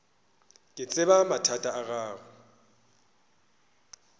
ke tseba mathata a gago